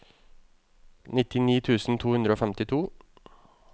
nittini tusen to hundre og femtito